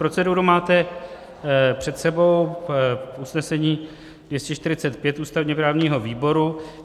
Proceduru máte před sebou, usnesení 245 ústavně-právního výboru.